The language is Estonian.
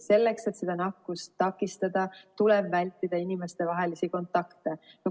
Selleks, et seda nakkust takistada, tuleb vältida inimestevahelisi kontakte.